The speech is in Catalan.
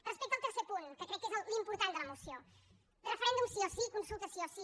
respecte al tercer punt que crec que és l’important de la moció referèndum sí o sí consulta sí o sí